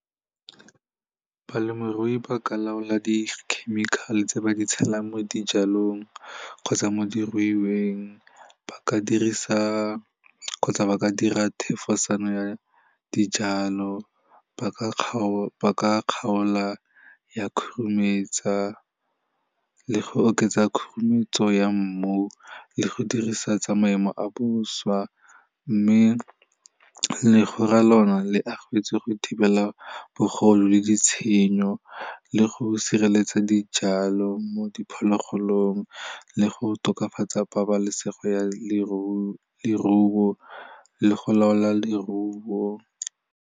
Balemirui ba ka laola di-chemical-e tse ba di tshelang mo dijalong kgotsa mo diruiweng ba ka dirisa kgotsa ba ka dira thefosano ya dijalo ba ka kgaola ya khurumetsa le go oketsa khurumetswe ya mmu le go dirisa tsa maemo a boswa mme legora lona le agetswe go thibela bogodu le ditshenyo le go sireletsa dijalo mo diphologolong le go tokafatsa pabalesego ya leruo, le go laola leruo.